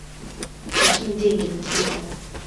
закинь деньги на телефон